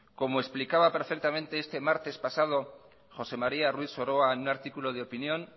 como explicaba perfectamente este martes pasado josé maría ruiz soroa en un artículo de opinión